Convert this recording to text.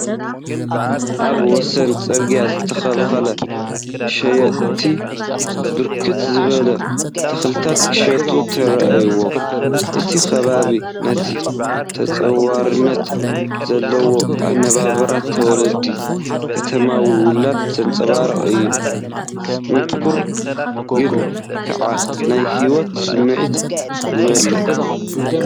ኣብ ወሰን ጽርግያ ዝተተኽሉ ሸየጥቲ ብርክት ዝበሉ ተኽልታት ክሸጡ ተራእዮም። እቲ ከባቢ ነቲ ተጻዋርነት ዘለዎ ኣነባብራ ተወላዲ ከተማዊ ወለዶ ዘንጸባርቕ እዩ፤ ጽንኩር ግን ከኣ ናይ ህይወት ስምዒት ዝመልአ።